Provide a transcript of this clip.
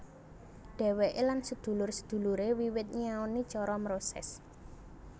Dheweke lan sedulur sedulure wiwit nyinaoni cara mroses